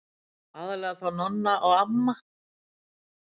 Aðallega þó Nonni og amma.